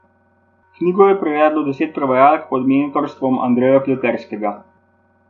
Knjigo je prevedlo deset prevajalk pod mentorstvom Andreja Pleterskega.